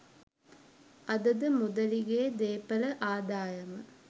අද ද මුදලිගේ දේපළ ආදායම